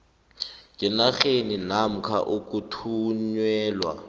ngenarheni namkha ukuthunyelwa